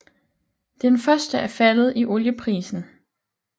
Den første er faldet i olieprisen